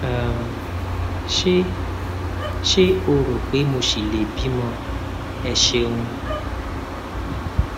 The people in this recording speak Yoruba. um ṣé ṣé o rò pé mo ṣì lè bímọ ẹ ṣeun